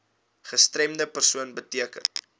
gestremde persoon beteken